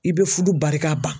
I bɛ furu barika ban